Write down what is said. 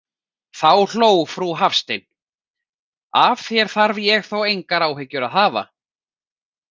Þá hló frú Hafstein: Af þér þarf ég þó engar áhyggjur að hafa.